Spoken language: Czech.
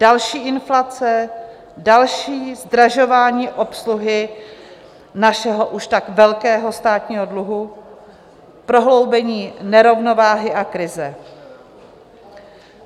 Další inflace, další zdražování obsluhy našeho už tak velkého státního dluhu, prohloubení nerovnováhy a krize.